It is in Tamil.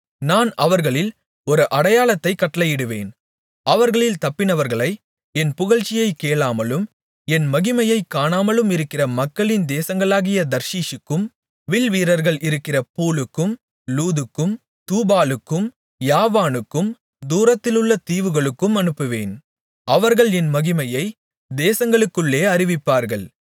நான் அவர்களில் ஒரு அடையாளத்தைக் கட்டளையிடுவேன் அவர்களில் தப்பினவர்களை என் புகழ்ச்சியைக் கேளாமலும் என் மகிமையைக் காணாமலுமிருக்கிற மக்களின் தேசங்களாகிய தர்ஷீசுக்கும் வில்வீரர்கள் இருக்கிற பூலுக்கும் லூதுக்கும் தூபாலுக்கும் யாவானுக்கும் தூரத்திலுள்ள தீவுகளுக்கும் அனுப்புவேன் அவர்கள் என் மகிமையை தேசங்களுக்குள்ளே அறிவிப்பார்கள்